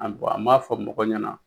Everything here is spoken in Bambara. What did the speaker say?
An bɔn an m'a fɔ mɔgɔw ɲɛna